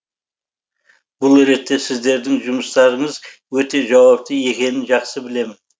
бұл ретте сіздердің жұмыстарыңыз өте жауапты екенін жақсы білемін